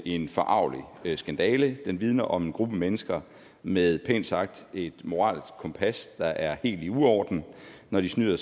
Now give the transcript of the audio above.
en forargelig skandale den vidner om en gruppe mennesker med et pænt sagt moralsk kompas der er helt i uorden når de snyder